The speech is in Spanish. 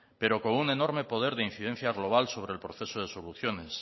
pero con un enorme poder de incidencia global sobre el proceso de soluciones